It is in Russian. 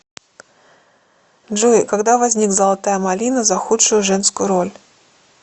джой когда возник золотая малина за худшую женскую роль